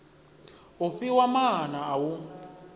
u fhiwa maana a u